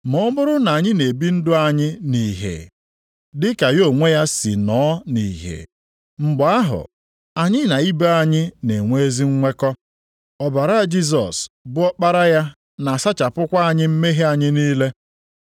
Ma ọ bụrụ na anyị na-ebi ndụ anyị nʼìhè, dị ka ya onwe ya si nọọ nʼìhè, mgbe ahụ anyị na ibe anyị na-enwe ezi nnwekọ. Ọbara Jisọs bụ Ọkpara ya na-asachapụkwa anyị mmehie anyị niile.